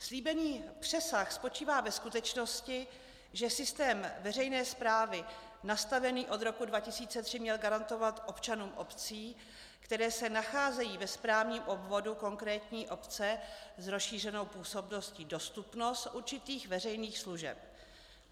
Slíbený přesah spočívá ve skutečnosti, že systém veřejné správy nastavený od roku 2003 měl garantovat občanům obcí, které se nacházejí se správním obvodu konkrétní obce s rozšířenou působností, dostupnost určitých veřejných služeb.